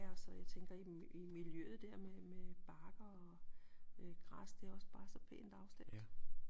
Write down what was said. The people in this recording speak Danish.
Ja og så jeg tænker i miljøet dér med med bakker og græs det er også bare så pænt afstemt